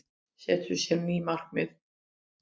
Setur sér ný markmið